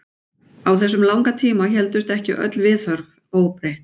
Á þessum langa tíma héldust ekki öll viðhorf óbreytt.